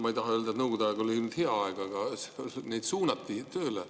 Ma ei taha öelda, et Nõukogude aeg oli hea aeg, aga siis suunati tööle.